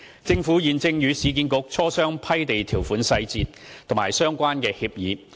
政府現正與市建局磋商批地條款細節及相關協議。